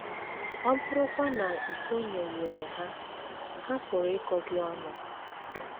Ọ bụrụkwa na i sonyeghịrị ha, ha pụrụ ịkọ gị ọnụ.